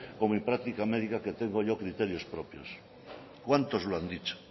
con mi práctica médica que tengo yo criterios propios cuántos lo han dicho